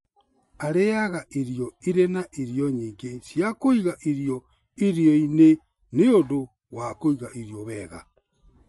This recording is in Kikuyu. Arĩaga irio irĩ na irio nyingĩ cia kũiga irio irio-inĩ nĩ ũndũ wa kũiga irio wega.